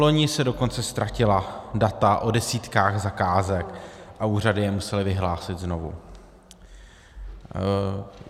Vloni se dokonce ztratila data o desítkách zakázek a úřady je musely vyhlásit znovu.